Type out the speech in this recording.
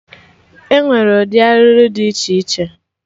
Enwere ụdị arụrụ dị iche iche